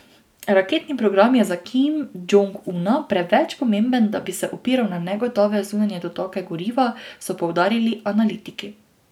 Raketni program je za Kim Džong Una preveč pomemben, da bi se opiral na negotove zunanje dotoke goriva, so poudarili analitiki.